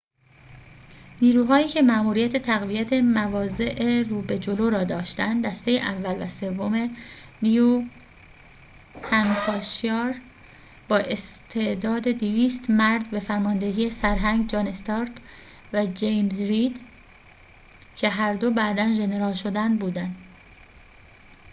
نیروهایی که ماموریت تقویت مواضع رو به جلو را داشتند، دسته اول و سوم نیوهمپشایر با استعداد 200 مرد به فرماندهی سرهنگ جان استارک و جیمز رید که هر دو بعدا ژنرال شدند بودند